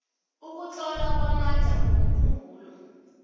ukutlola kwamandla womkhumbulo